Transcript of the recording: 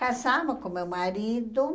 casamos com meu marido.